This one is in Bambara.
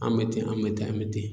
An bɛ ten an bɛ taa an bɛ ten